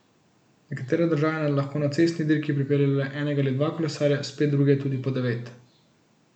Nekatere države lahko na cestni dirki pripeljejo le enega ali dva kolesarja, spet druge tudi po devet.